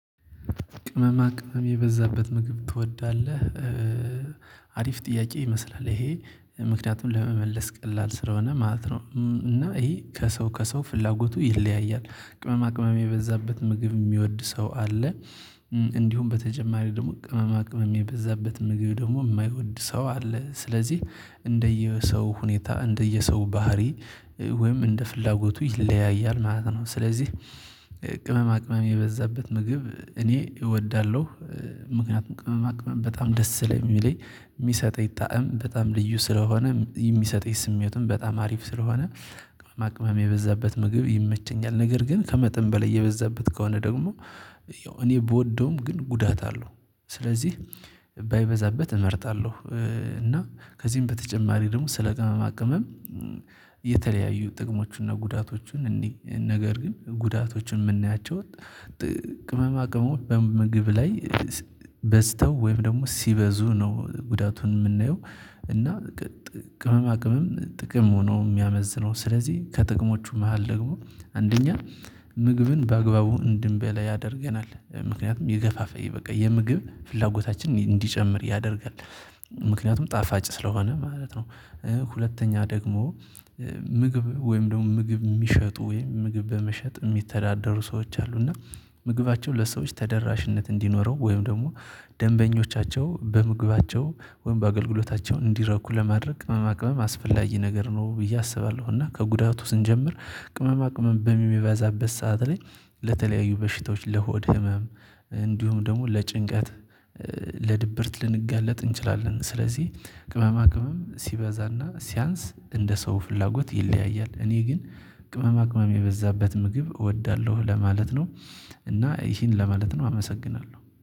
ቅመማ ቅመም የበዛበት ምግብ ትወዳለህ አሪፍ ጥያቄ ይመስላል ይሄ ምክንያቱም ለመመለስ ቀላል ስለሆነ ማለት ነው እና ይሄ ከሰው ከሰው ፍላጎቱ ይለያያል። ቅመማ ቅመም የበዛበት ምግብ የሚወድ ሰው አለ። እንዲሁም በተጨማሪ ደግሞ ቅመማ ቅመም የበዛበት ምግብ ደግሞ የማይወድ ሰው አለ። ስለዚህ እንደየሰው ሁኔታ እንደየሰው ባህሪ ወይም እንደ ፍላጎቱ ይለያያል ማለት ነው። ስለዚህ ቅመማ ቅመም የበዛበት ምግብ እኔ እወዳለሁ። ምክንያቱም ቅመማ ቅመም በጣም ደስ ስለሚለኝ የሚሰጠኝ ጣዕም በጣም ልዩ ስለሆነ የሚሰጠኝ ስሜቱን በጣም አሪፍ ስለሆነ። ማቅመም የበዛበት ምግብ ይመቸኛል ነገር ግን ከመጠን በላይ እየበዛበት ከሆነ ደግሞ እኔ ብወደውም ግን ጉዳት አለው። ስለዚህ ባይበዛበት እመርጣለሁ። እና ከዚህም በተጨማሪ ደግሞ ስለ ቅመማ ቅመም። የተለያዩ ጥቅሞቹና ጉዳቶችን እንይ ነገር ግን ጉዳቶችን የምናያቸው ቅመማ ቅመሞች በምግብ ላይ በዝተው ወይም ደግሞ ሲበዙ ነው ጉዳቱን የምናየው። እና ጥቅም ቅመም ጥቅም ነው የሚያመዝነው ስለዚህ ከጥቅሞቹ መሃል ደግሞ። አንደኛ ምግብን በአግባቡ እንድንበላ ያደርገናል ምክንያቱም ይገፋፍይ በቃ የምግብ ፍላጎታችንን እንዲጨምር ያደርጋል። ምክንያቱም ጣፋጭ ስለሆነ ማለት ነው። ሁለተኛ ደግሞ ምግብ ወይም ደግሞ ምግብ የሚሸጡ ወይም ምግብ በመሸጥ የሚተዳደሩ ሰዎች አሉ። እና ምግባቸው ለሰዎች ተደራሽነት እንዲኖረው ወይም ደግሞ ደንበኞቻቸው በምግባቸው ወይም በአገልግሎታቸው እንዲረኩ ለማድረግ ቅመማ ቅመም አስፈላጊ ነገር ነው ብዬ አስባለሁ። እና ከጉዳቱ ስንጀምር ቅመማ ቅመም በሚበዛበት ሰዓት ላይ ለተለያዩ በሽታዎች ለሆድ ህመም እንዲሁም ደግሞ ለጭንቀት ለድብርት ልንጋለጥ እንችላለን። ስለዚህ ቅመማ ቅመም ሲበዛና ሲያንስ እንደ ሰው ፍላጎት ይለያያል። እኔ ግን ቅመማ ቅመም የበዛበት ምግብ እወዳለሁ ለማለት ነው። እና ይሄን ለማለት ነው አመሰግናለሁ